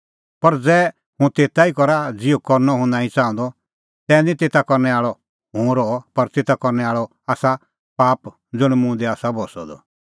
पर ज़ै हुंह तेता ई करा ज़िहअ करनअ हुंह नांईं च़ाहंदअ तै निं तेता करनै आल़अ हुंह रहअ पर तेता करनै आल़अ आसा पाप ज़ुंण मुंह दी आसा बस्सअ द